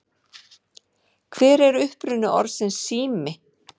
Hver er uppruni orðsins sími?